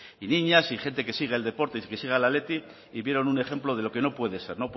y niñas y gente que sigue el deporte y que sigue al athletic y vieron un ejemplo de lo que no puede ser